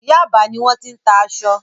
Yaba ni wọ́n ti ń tà aṣọ.